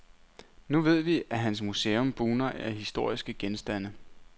Nu ved vi, at hans museum bugner af historiske genstande.